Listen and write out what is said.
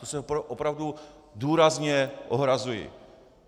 To se opravdu důrazně ohrazuji!